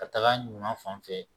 Ka taga ɲuman fan fɛ